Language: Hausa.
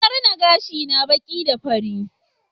Na rina gashina baki da fari